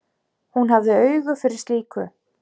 Hún hafði auga fyrir slíku.